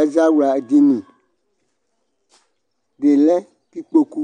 Ɛzawlua dini, ɖi lɛ k'ikpoku